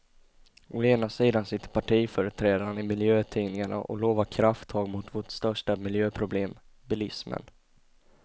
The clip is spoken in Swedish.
Å ena sidan sitter partiföreträdarna i miljötidningarna och lovar krafttag mot vårt största miljöproblem, bilismen.